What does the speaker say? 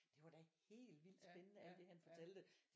Det var da helt vildt spændende alt det han fortalte